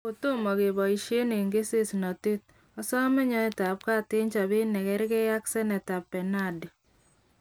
Kotomo keboishenon eng kesesnotet, osome nyoitabgat eng chobet nekerge ak Seneta Bernadi.